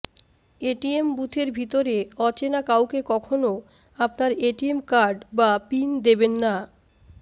ATM বুথের ভিতরে অচেনা কাউকে কখনও আপনার এটিএম কার্ড বা পিন দেবেন না